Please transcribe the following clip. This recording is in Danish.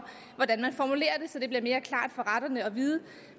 hvordan man formulerer det så det bliver mere klart for retterne